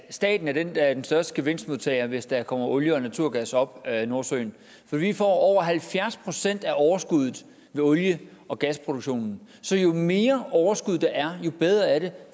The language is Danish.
at staten er den der er den største gevinstmodtager hvis der kommer olie og naturgas op af nordsøen for vi får over halvfjerds procent af overskuddet med olie og gasproduktionen så jo mere overskud der er jo bedre er det